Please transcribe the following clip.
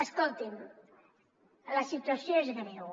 escolti’m la situació és greu